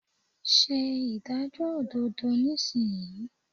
Se ìdájọ́ òdodo nísìnyí